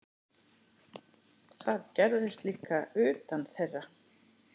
Það gerðist líka utan þeirra.